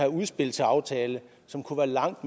udspil til aftale som kunne være langt